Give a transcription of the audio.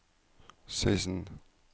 seksten